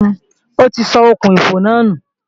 Ó ti sọ okùn-ìfò náà nù